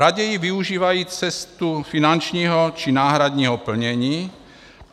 Raději využívají cestu finančního či náhradního plnění.